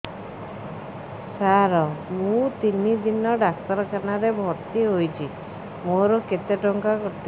ସାର ମୁ ତିନି ଦିନ ଡାକ୍ତରଖାନା ରେ ଭର୍ତି ହେଇଛି ମୋର କେତେ ଟଙ୍କା କଟିବ